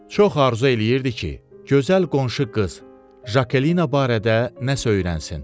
Çox arzu eləyirdi ki, gözəl qonşu qız Jakelina barədə nəsə öyrənsin.